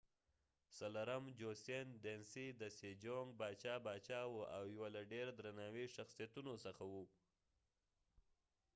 باچا sejong د joseon dynasy څلورم باچا وو او یوله ډیر درناوي شخصیتونو څخه وو